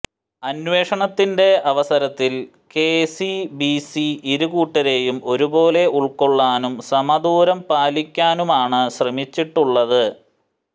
അന്വേഷണത്തിന്റെ അവസരത്തിൽ കെസിബിസി ഇരുകൂട്ടരെയും ഒരുപോലെ ഉൾകൊള്ളാനും സമദൂരം പാലിക്കാനുമാണ് ശ്രമിച്ചിട്ടുള്ളത്